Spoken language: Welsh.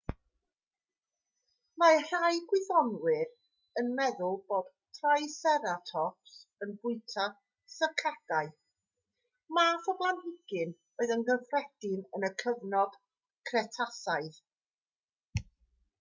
mae rhai gwyddonwyr yn meddwl bod triceratops yn bwyta sycadau math o blanhigyn oedd yn gyffredin yn y cyfnod cretasaidd